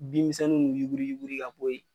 Binmisɛnninw yuguriyuguri ka boyi.